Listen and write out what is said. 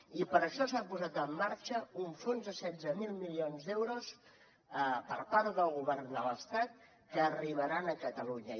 i per això s’ha posat en marxa un fons de setze mil milions d’euros per part del govern de l’estat que arribaran a catalunya